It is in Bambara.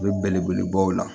U bɛ belebelebaw la